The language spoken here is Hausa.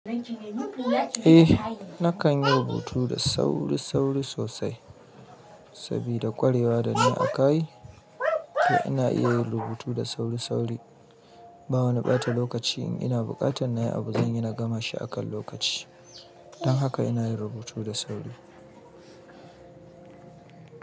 Eh nakan yi rubutu da sauri-sauri sosai sabida ƙwarewa da na akayi to ina iya yin rubutu da sauri-sauri ba wa na ɓata lokaci in ina buƙatar na yi abu zan yana gama shi akan lokaci. Don haka ina yin rubutu da sauri.